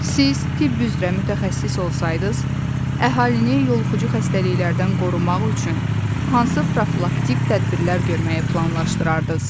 Siz tibb üzrə mütəxəssis olsaydınız, əhalini yoluxucu xəstəliklərdən qorumaq üçün hansı profilaktik tədbirlər görməyi planlaşdırardınız?